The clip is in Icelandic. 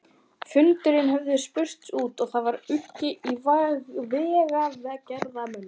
Fundirnir höfðu spurst út og það var uggur í vegagerðarmönnum.